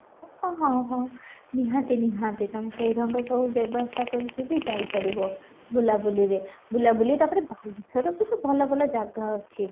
ହଁ ହଁ ନିହାତି ନିହାତି ତମେ ସେଇ ରଙ୍ଗ ସବୁ ବ୍ୟବସ୍ତା କରି କି ବି ଯାଇ ପାରିବ ବୁଲା ବୁଲିରେ ବୁଲା ବୁଲି ତା'ପରେ ବାଲେଶ୍ୱରର ବି ତ ଭଲ ଭଲ ଜାଗା ଅଛି